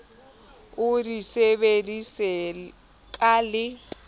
o di sebedise ka le